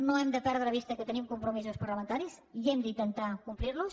no hem de perdre de vista que tenim compromisos parlamentaris i hem d’intentar complir los